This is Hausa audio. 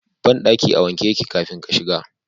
Bandaki a wanke yake kafin ka shiga.